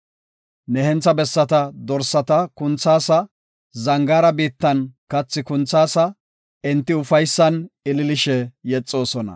Ne hentha bessata dorsata kunthaasa; zangaara biittan kathi kunthaasa; enti ufaysan ililishe yexoosona.